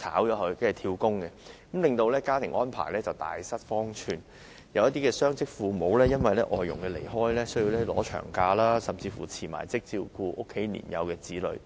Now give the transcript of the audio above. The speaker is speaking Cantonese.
她們希望被解僱後轉工，令僱主家庭大失方寸，有些雙職父母因外傭離開而要放取長假，甚至要辭職以照顧家中年幼子女。